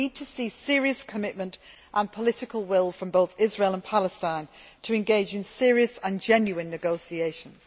We need to see a serious commitment and the political will from both Israel and Palestine to engage in serious and genuine negotiations.